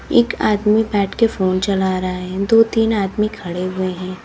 एक आदमी बैठकर फोन चला रहा है। दो तीन आदमी खड़े हुए हैं।